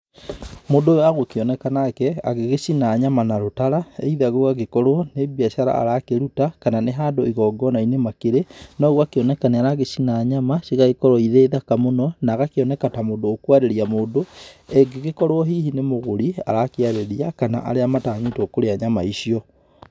Mũndũ ũyũ agũkĩoneka nake, agĩgĩcina nyama na rũtara, either gũgagĩkorũo, nĩ mbiacara arakĩruta, kana nĩ handũ igongona-inĩ makĩrĩ, no gũgakĩoneka nĩ aragĩcina nyama, cigagĩkorũo irĩ thaka mũno, na agakĩoneka ta mũndũ ũkũarĩria mũndũ, angĩgĩkorũo hihi nĩ mũgũri, arakĩarĩria, kana arĩa matanyĩtũo kũrĩa nyama icio.